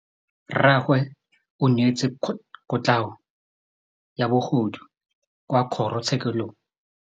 Rragwe o neetswe kotlhaô ya bogodu kwa kgoro tshêkêlông.